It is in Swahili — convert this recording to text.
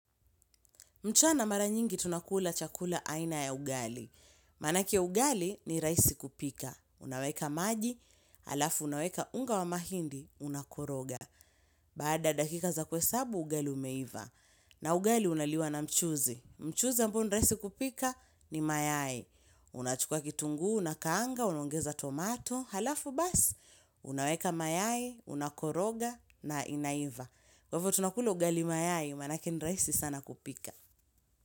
Mchana mara nyingi tunakula chakula aina ya ugali. Manake ugali ni rahisi kupika. Unaweka maji, alafu unaweka unga wa mahindi, unakoroga. Bada dakika za kuesabu, ugali umeiva. Na ugali unaliwa na mchuzi. Mchuzi ambo ni rahisi kupika ni mayai. Unachukua kitunguu, unakaanga, unongeza tomato. Halafu bas, unaweka mayai, unakoroga, na inaiva. Kwafu tunakula ugali mayai, manake ni rahisi sana kupika.